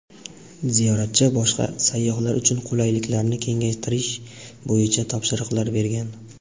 ziyoratchi va boshqa sayyohlar uchun qulayliklarni kengaytirish bo‘yicha topshiriqlar bergan.